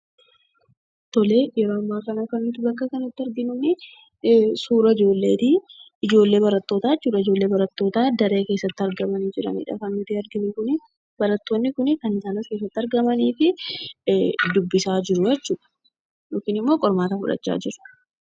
Tole, yeroo ammaa kana kan nuti bakka kanatti arginu, suuraa ijoolleeti. ijoollee barattootaa jechuudha. ijoollee barattootaa daree keessatti argamanii jiranidha. Kan nuti arginu kuni, barattoonni kan as keessatti argamanii fi dubbisaa jiru jechuudha. yookiin ammoo qormaata fudhachaa jiru.